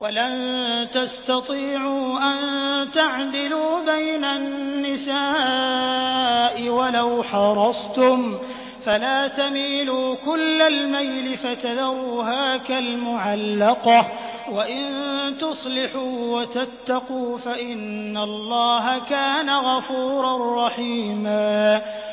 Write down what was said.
وَلَن تَسْتَطِيعُوا أَن تَعْدِلُوا بَيْنَ النِّسَاءِ وَلَوْ حَرَصْتُمْ ۖ فَلَا تَمِيلُوا كُلَّ الْمَيْلِ فَتَذَرُوهَا كَالْمُعَلَّقَةِ ۚ وَإِن تُصْلِحُوا وَتَتَّقُوا فَإِنَّ اللَّهَ كَانَ غَفُورًا رَّحِيمًا